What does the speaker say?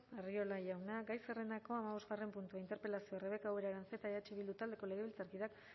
arriola jauna gai zerrendako hamabosgarren puntua interpelazioa rebeka ubera aranzeta eh bildu taldeko legebiltzarkideak